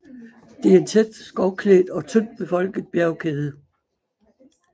Det er en tæt skovklædt og tyndt befolket bjergkæde